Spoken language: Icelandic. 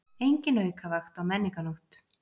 Engin aukavakt á Menningarnótt